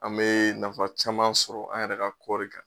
An bee nafa caman sɔrɔ an yɛrɛ ka kɔri kan.